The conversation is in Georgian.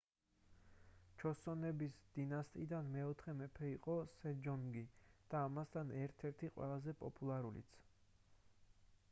ჩოსონების დინასტიიდან მეოთხე მეფე იყო მეფე სეჯონგი და ამასთან ერთ-ერთი ყველაზე პოპულარულიც